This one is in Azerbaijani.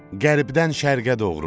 qərbdən şərqə doğru.